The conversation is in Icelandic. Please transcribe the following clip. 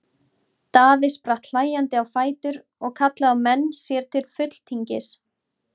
Daði spratt hlæjandi á fætur og kallaði á menn sér til fulltingis.